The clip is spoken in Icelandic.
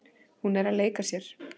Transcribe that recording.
Hún er að leika sér.